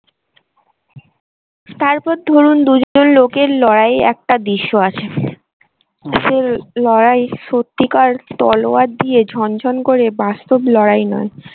তারপর ধরুন দুজন লোকের লড়াই একটা দৃশ্য আছে। সে লড়াই সত্যিকার তলোয়ার দিয়ে ঝনঝন করে বাস্তব লড়াই নয়।